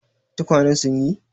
Tukwanen sun yi?